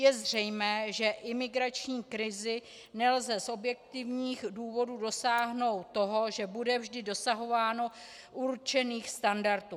Je zřejmé, že imigrační krizí nelze z objektivních důvodů dosáhnout toho, že bude vždy dosahováno určených standardů.